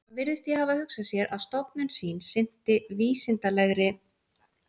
Hann virðist því hafa hugsað sér, að stofnun sín sinnti vísindalegri